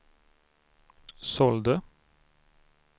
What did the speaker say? sålde